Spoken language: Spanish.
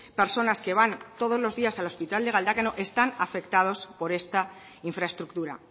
personas que van todos los días al hospital de galdakao están afectados por esta infraestructura